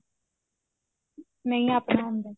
ਨਹੀਂ ਆਪਣਾ ਹੁੰਦਾ